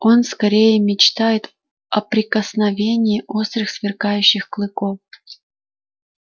он скорее мечтает о прикосновении острых сверкающих клыков